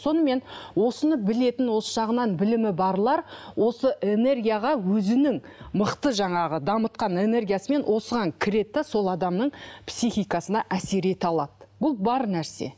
сонымен осыны білетін осы жағынан білімі барлар осы энергияға өзінің мықты жаңағы дамытқан энергиясымен осыған кіреді де сол адамның психикасына әсер ете алады бұл бар нәрсе